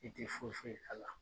I ti foyi foyi k'a la.